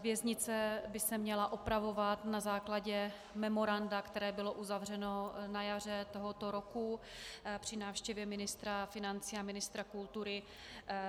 Věznice by se měla opravovat na základě memoranda, které bylo uzavřeno na jaře tohoto roku při návštěvě ministra financí a ministra kultury